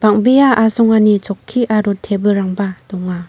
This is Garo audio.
bang·bea asongani chokki aro tebilrangba donga.